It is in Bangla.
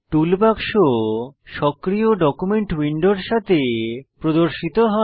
টুলবাক্স সক্রিয় ডকুমেন্ট উইন্ডোর সাথে প্রদর্শিত হয়